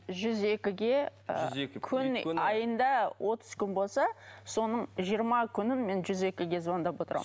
жүз екіге ы күні айында отыз күн болса соның жиырма күнін мен жүз екіге звандап отырамын